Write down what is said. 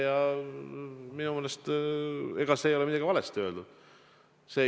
Ja minu meelest ei ole midagi valesti öeldud.